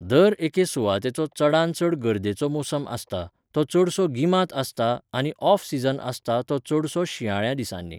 दर एके सुवातेचो चडांत चड गर्देचो मोसम आसता, तो चडसो गिमांत आसता आनी ऑफ सीझन आसता तो चडसो शिंयाळ्या दिसांनी.